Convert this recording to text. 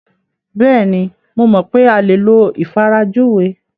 Bẹ́ẹ̀ni, mo mọ̀ pé a lè lo ìfarajúwe.